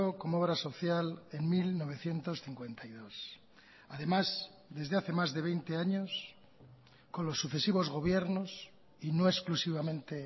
como obra social en mil novecientos cincuenta y dos además desde hace más de veinte años con los sucesivos gobiernos y no exclusivamente